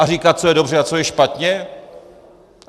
A říkat, co je dobře a co je špatně?